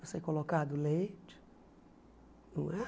Para ser colocado leite não é.